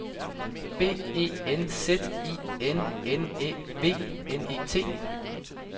B E N Z I N N Æ V N E T